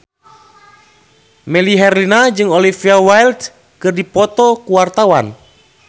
Melly Herlina jeung Olivia Wilde keur dipoto ku wartawan